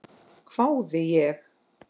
hvái ég.